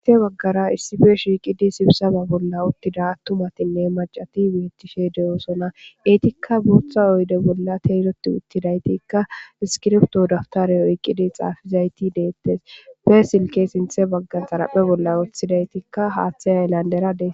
He baggara issippe shiiqi uttidinee sibisaaba bolla attumatinne maccati beettishe de'osona. Etikka booththa oyde bolla teeloti uttidaytikka, iskirbito daputare oyiqqidi xaafizayti deettes. Be silke sinththe baggara xaraphe bolla woththidaytikka haaththe haylandera dees.